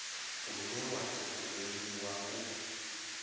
une wa tou rengiwa u